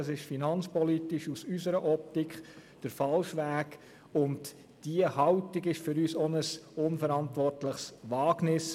Das ist aus unserer Sicht finanzpolitisch der falsche Weg und diese Haltung ist für uns auch ein unverantwortliches Wagnis.